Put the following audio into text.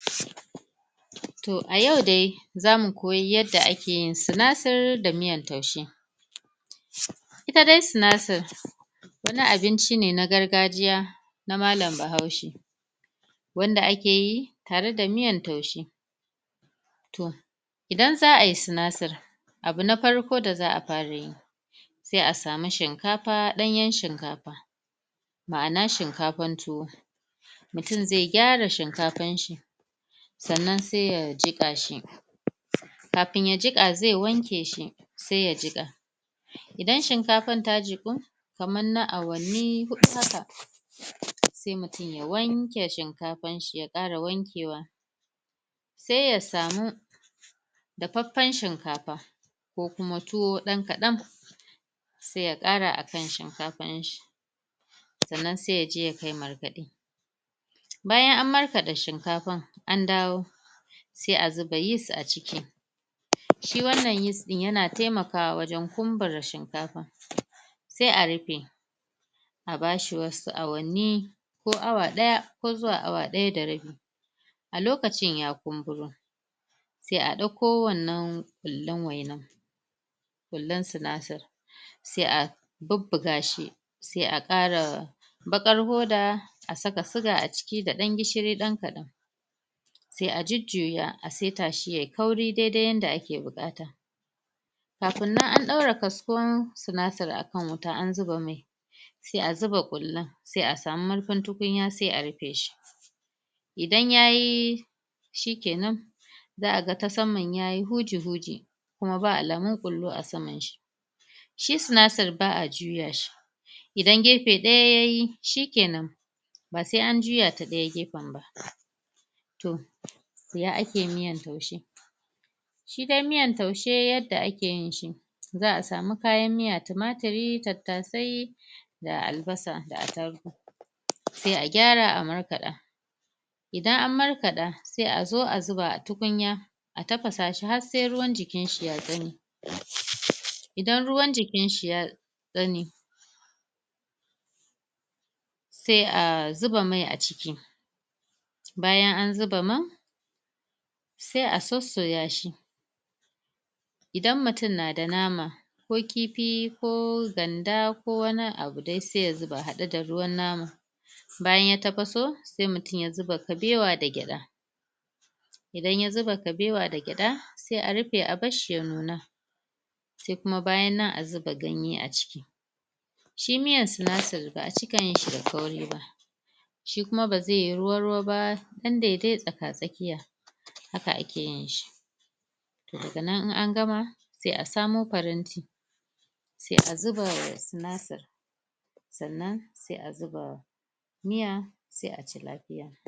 Toh a yau dai za mu koyi yadda a ke sinasir da miyan taushe ita dai sinasir wani abinci ne na gargajiyya na mallam bahaushe wanda a ke yi, tare da miyan taushe toh idan za a yi sinasir, abu na farko da zaa fara yi sai a samu shinkafa, danyen shinkafa maana shinkafan tuwo mutum zai gyara shinkafar shi tsannan sai ya jika shi kafin ya jika, zai wanke shi sai ya jika idan shinkafan ta jiku, kaman na awali hudu haka sai mutum ya wanke shinkafar shi ya kara wankewa sai ya samu dafefen shinkafa, ko kuma tuwo dan kadan sai ya kara a kan shinkafan shi tsannan sai ya je ya kai markade bayan a markada shinkafan, an dawo sai a zuba yeast a ciki shi wannan yeast din, ya na taimakawa wajen kunbura shinkafa sai a rufe a bashi wasu awani ko awa daya ko zuwa awa daya da rabi a lokacin ya kunburo sai a dauko wannan kullun wainan kullun sinasir sai 'a bubuga shi, sai 'a kara bakar poda 'a saka suga aciki da dan gishiri dan kadan sai a jujuya a seta shi ya yi kauri dai-dai yanda a ke bukata kafun nan an daura kaskon sinasir a kan wuta an zuba mai sai a zuba kullan, sai a samu marfin tukunya, sai a rufe shi. Idan ya yi, shi kenan zaa ga ta saman yayi huji-huji kuma ba alamun kullu a saman shi shi sinasir baa juya shi idan gefe daya ya yi, shikenan ba sai an juya ta dayan gefen ba Toh, siya a ke miyan taushe shi dai miyan taushe, yanda a ke yin shi zaa samu kayan miya tumaturi, tatase da albasa da atarugu sai a gyara a markada idan an markada, sai a zo a zuba a tukunya a tafasa shi har sai ruwar jikin shi ya tsame idan ruwar jikin shi ya tsame sai a zuba mai a ciki bayan an zuba man sai a tsotsoya shi idan mutum na da nama, ko kifi ko ganda, ko wanni abu dai sai ya zuba hadde da ruwan nama bayan ya tapaso, sai mutum ya zuba kabewa da geda idan ya zuba kabewa da geda sai a rufe, a bar shi ya nuna sai kuma bayan nan a zuba ganye a ciki shi miyan sinasir, baa cika yin shi da kauri ba shi kuma ba zai yi ruwa-ruwa ba, san da dai yayi a tsaka tsakiya haka a ke yin shi toh da ga nan in an gama, sai a samo paranti sai a zuba wa sinasir sannan sai a zuba miya, sai a ci lafiya